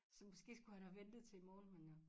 Så måske skulle han have ventet til i morgen men øh